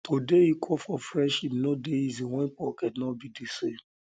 to dey equal for friendship no dey easy wen pocket no be di same